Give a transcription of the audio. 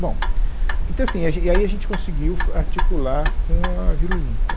Bom, então assim, e a gen, e aí a gente conseguiu far articular com a Vila Olímpia.